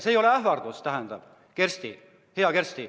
See ei ole ähvardus, hea Kersti.